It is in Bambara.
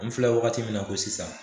N filɛ wagati min na ko sisan